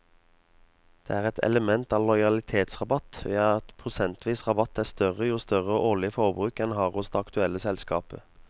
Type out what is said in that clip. Det er et element av lojalitetsrabatt ved at prosentvis rabatt er større jo større årlig forbruk en har hos det aktuelle selskapet.